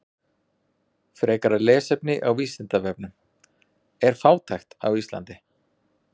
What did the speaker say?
Frekara lesefni á Vísindavefnum: Er fátækt á Íslandi?